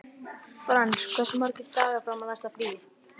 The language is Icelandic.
Frans, hversu margir dagar fram að næsta fríi?